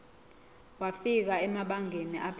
wafika emabangeni aphezulu